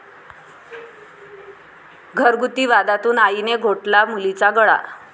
घरगुती वादातून आईने घोटला मुलीचा गळा